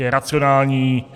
Je racionální.